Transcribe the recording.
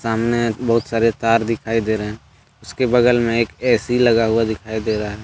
सामने बहुत सारे तार दिखाई दे रहे हैं उसके बगल में एक ए_सी लगा हुआ दिखाई दे रहा है।